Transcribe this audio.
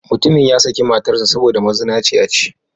Mutumin ya saki matar sa saboda mazinaci ya ce.